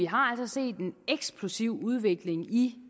har set en eksplosiv udvikling i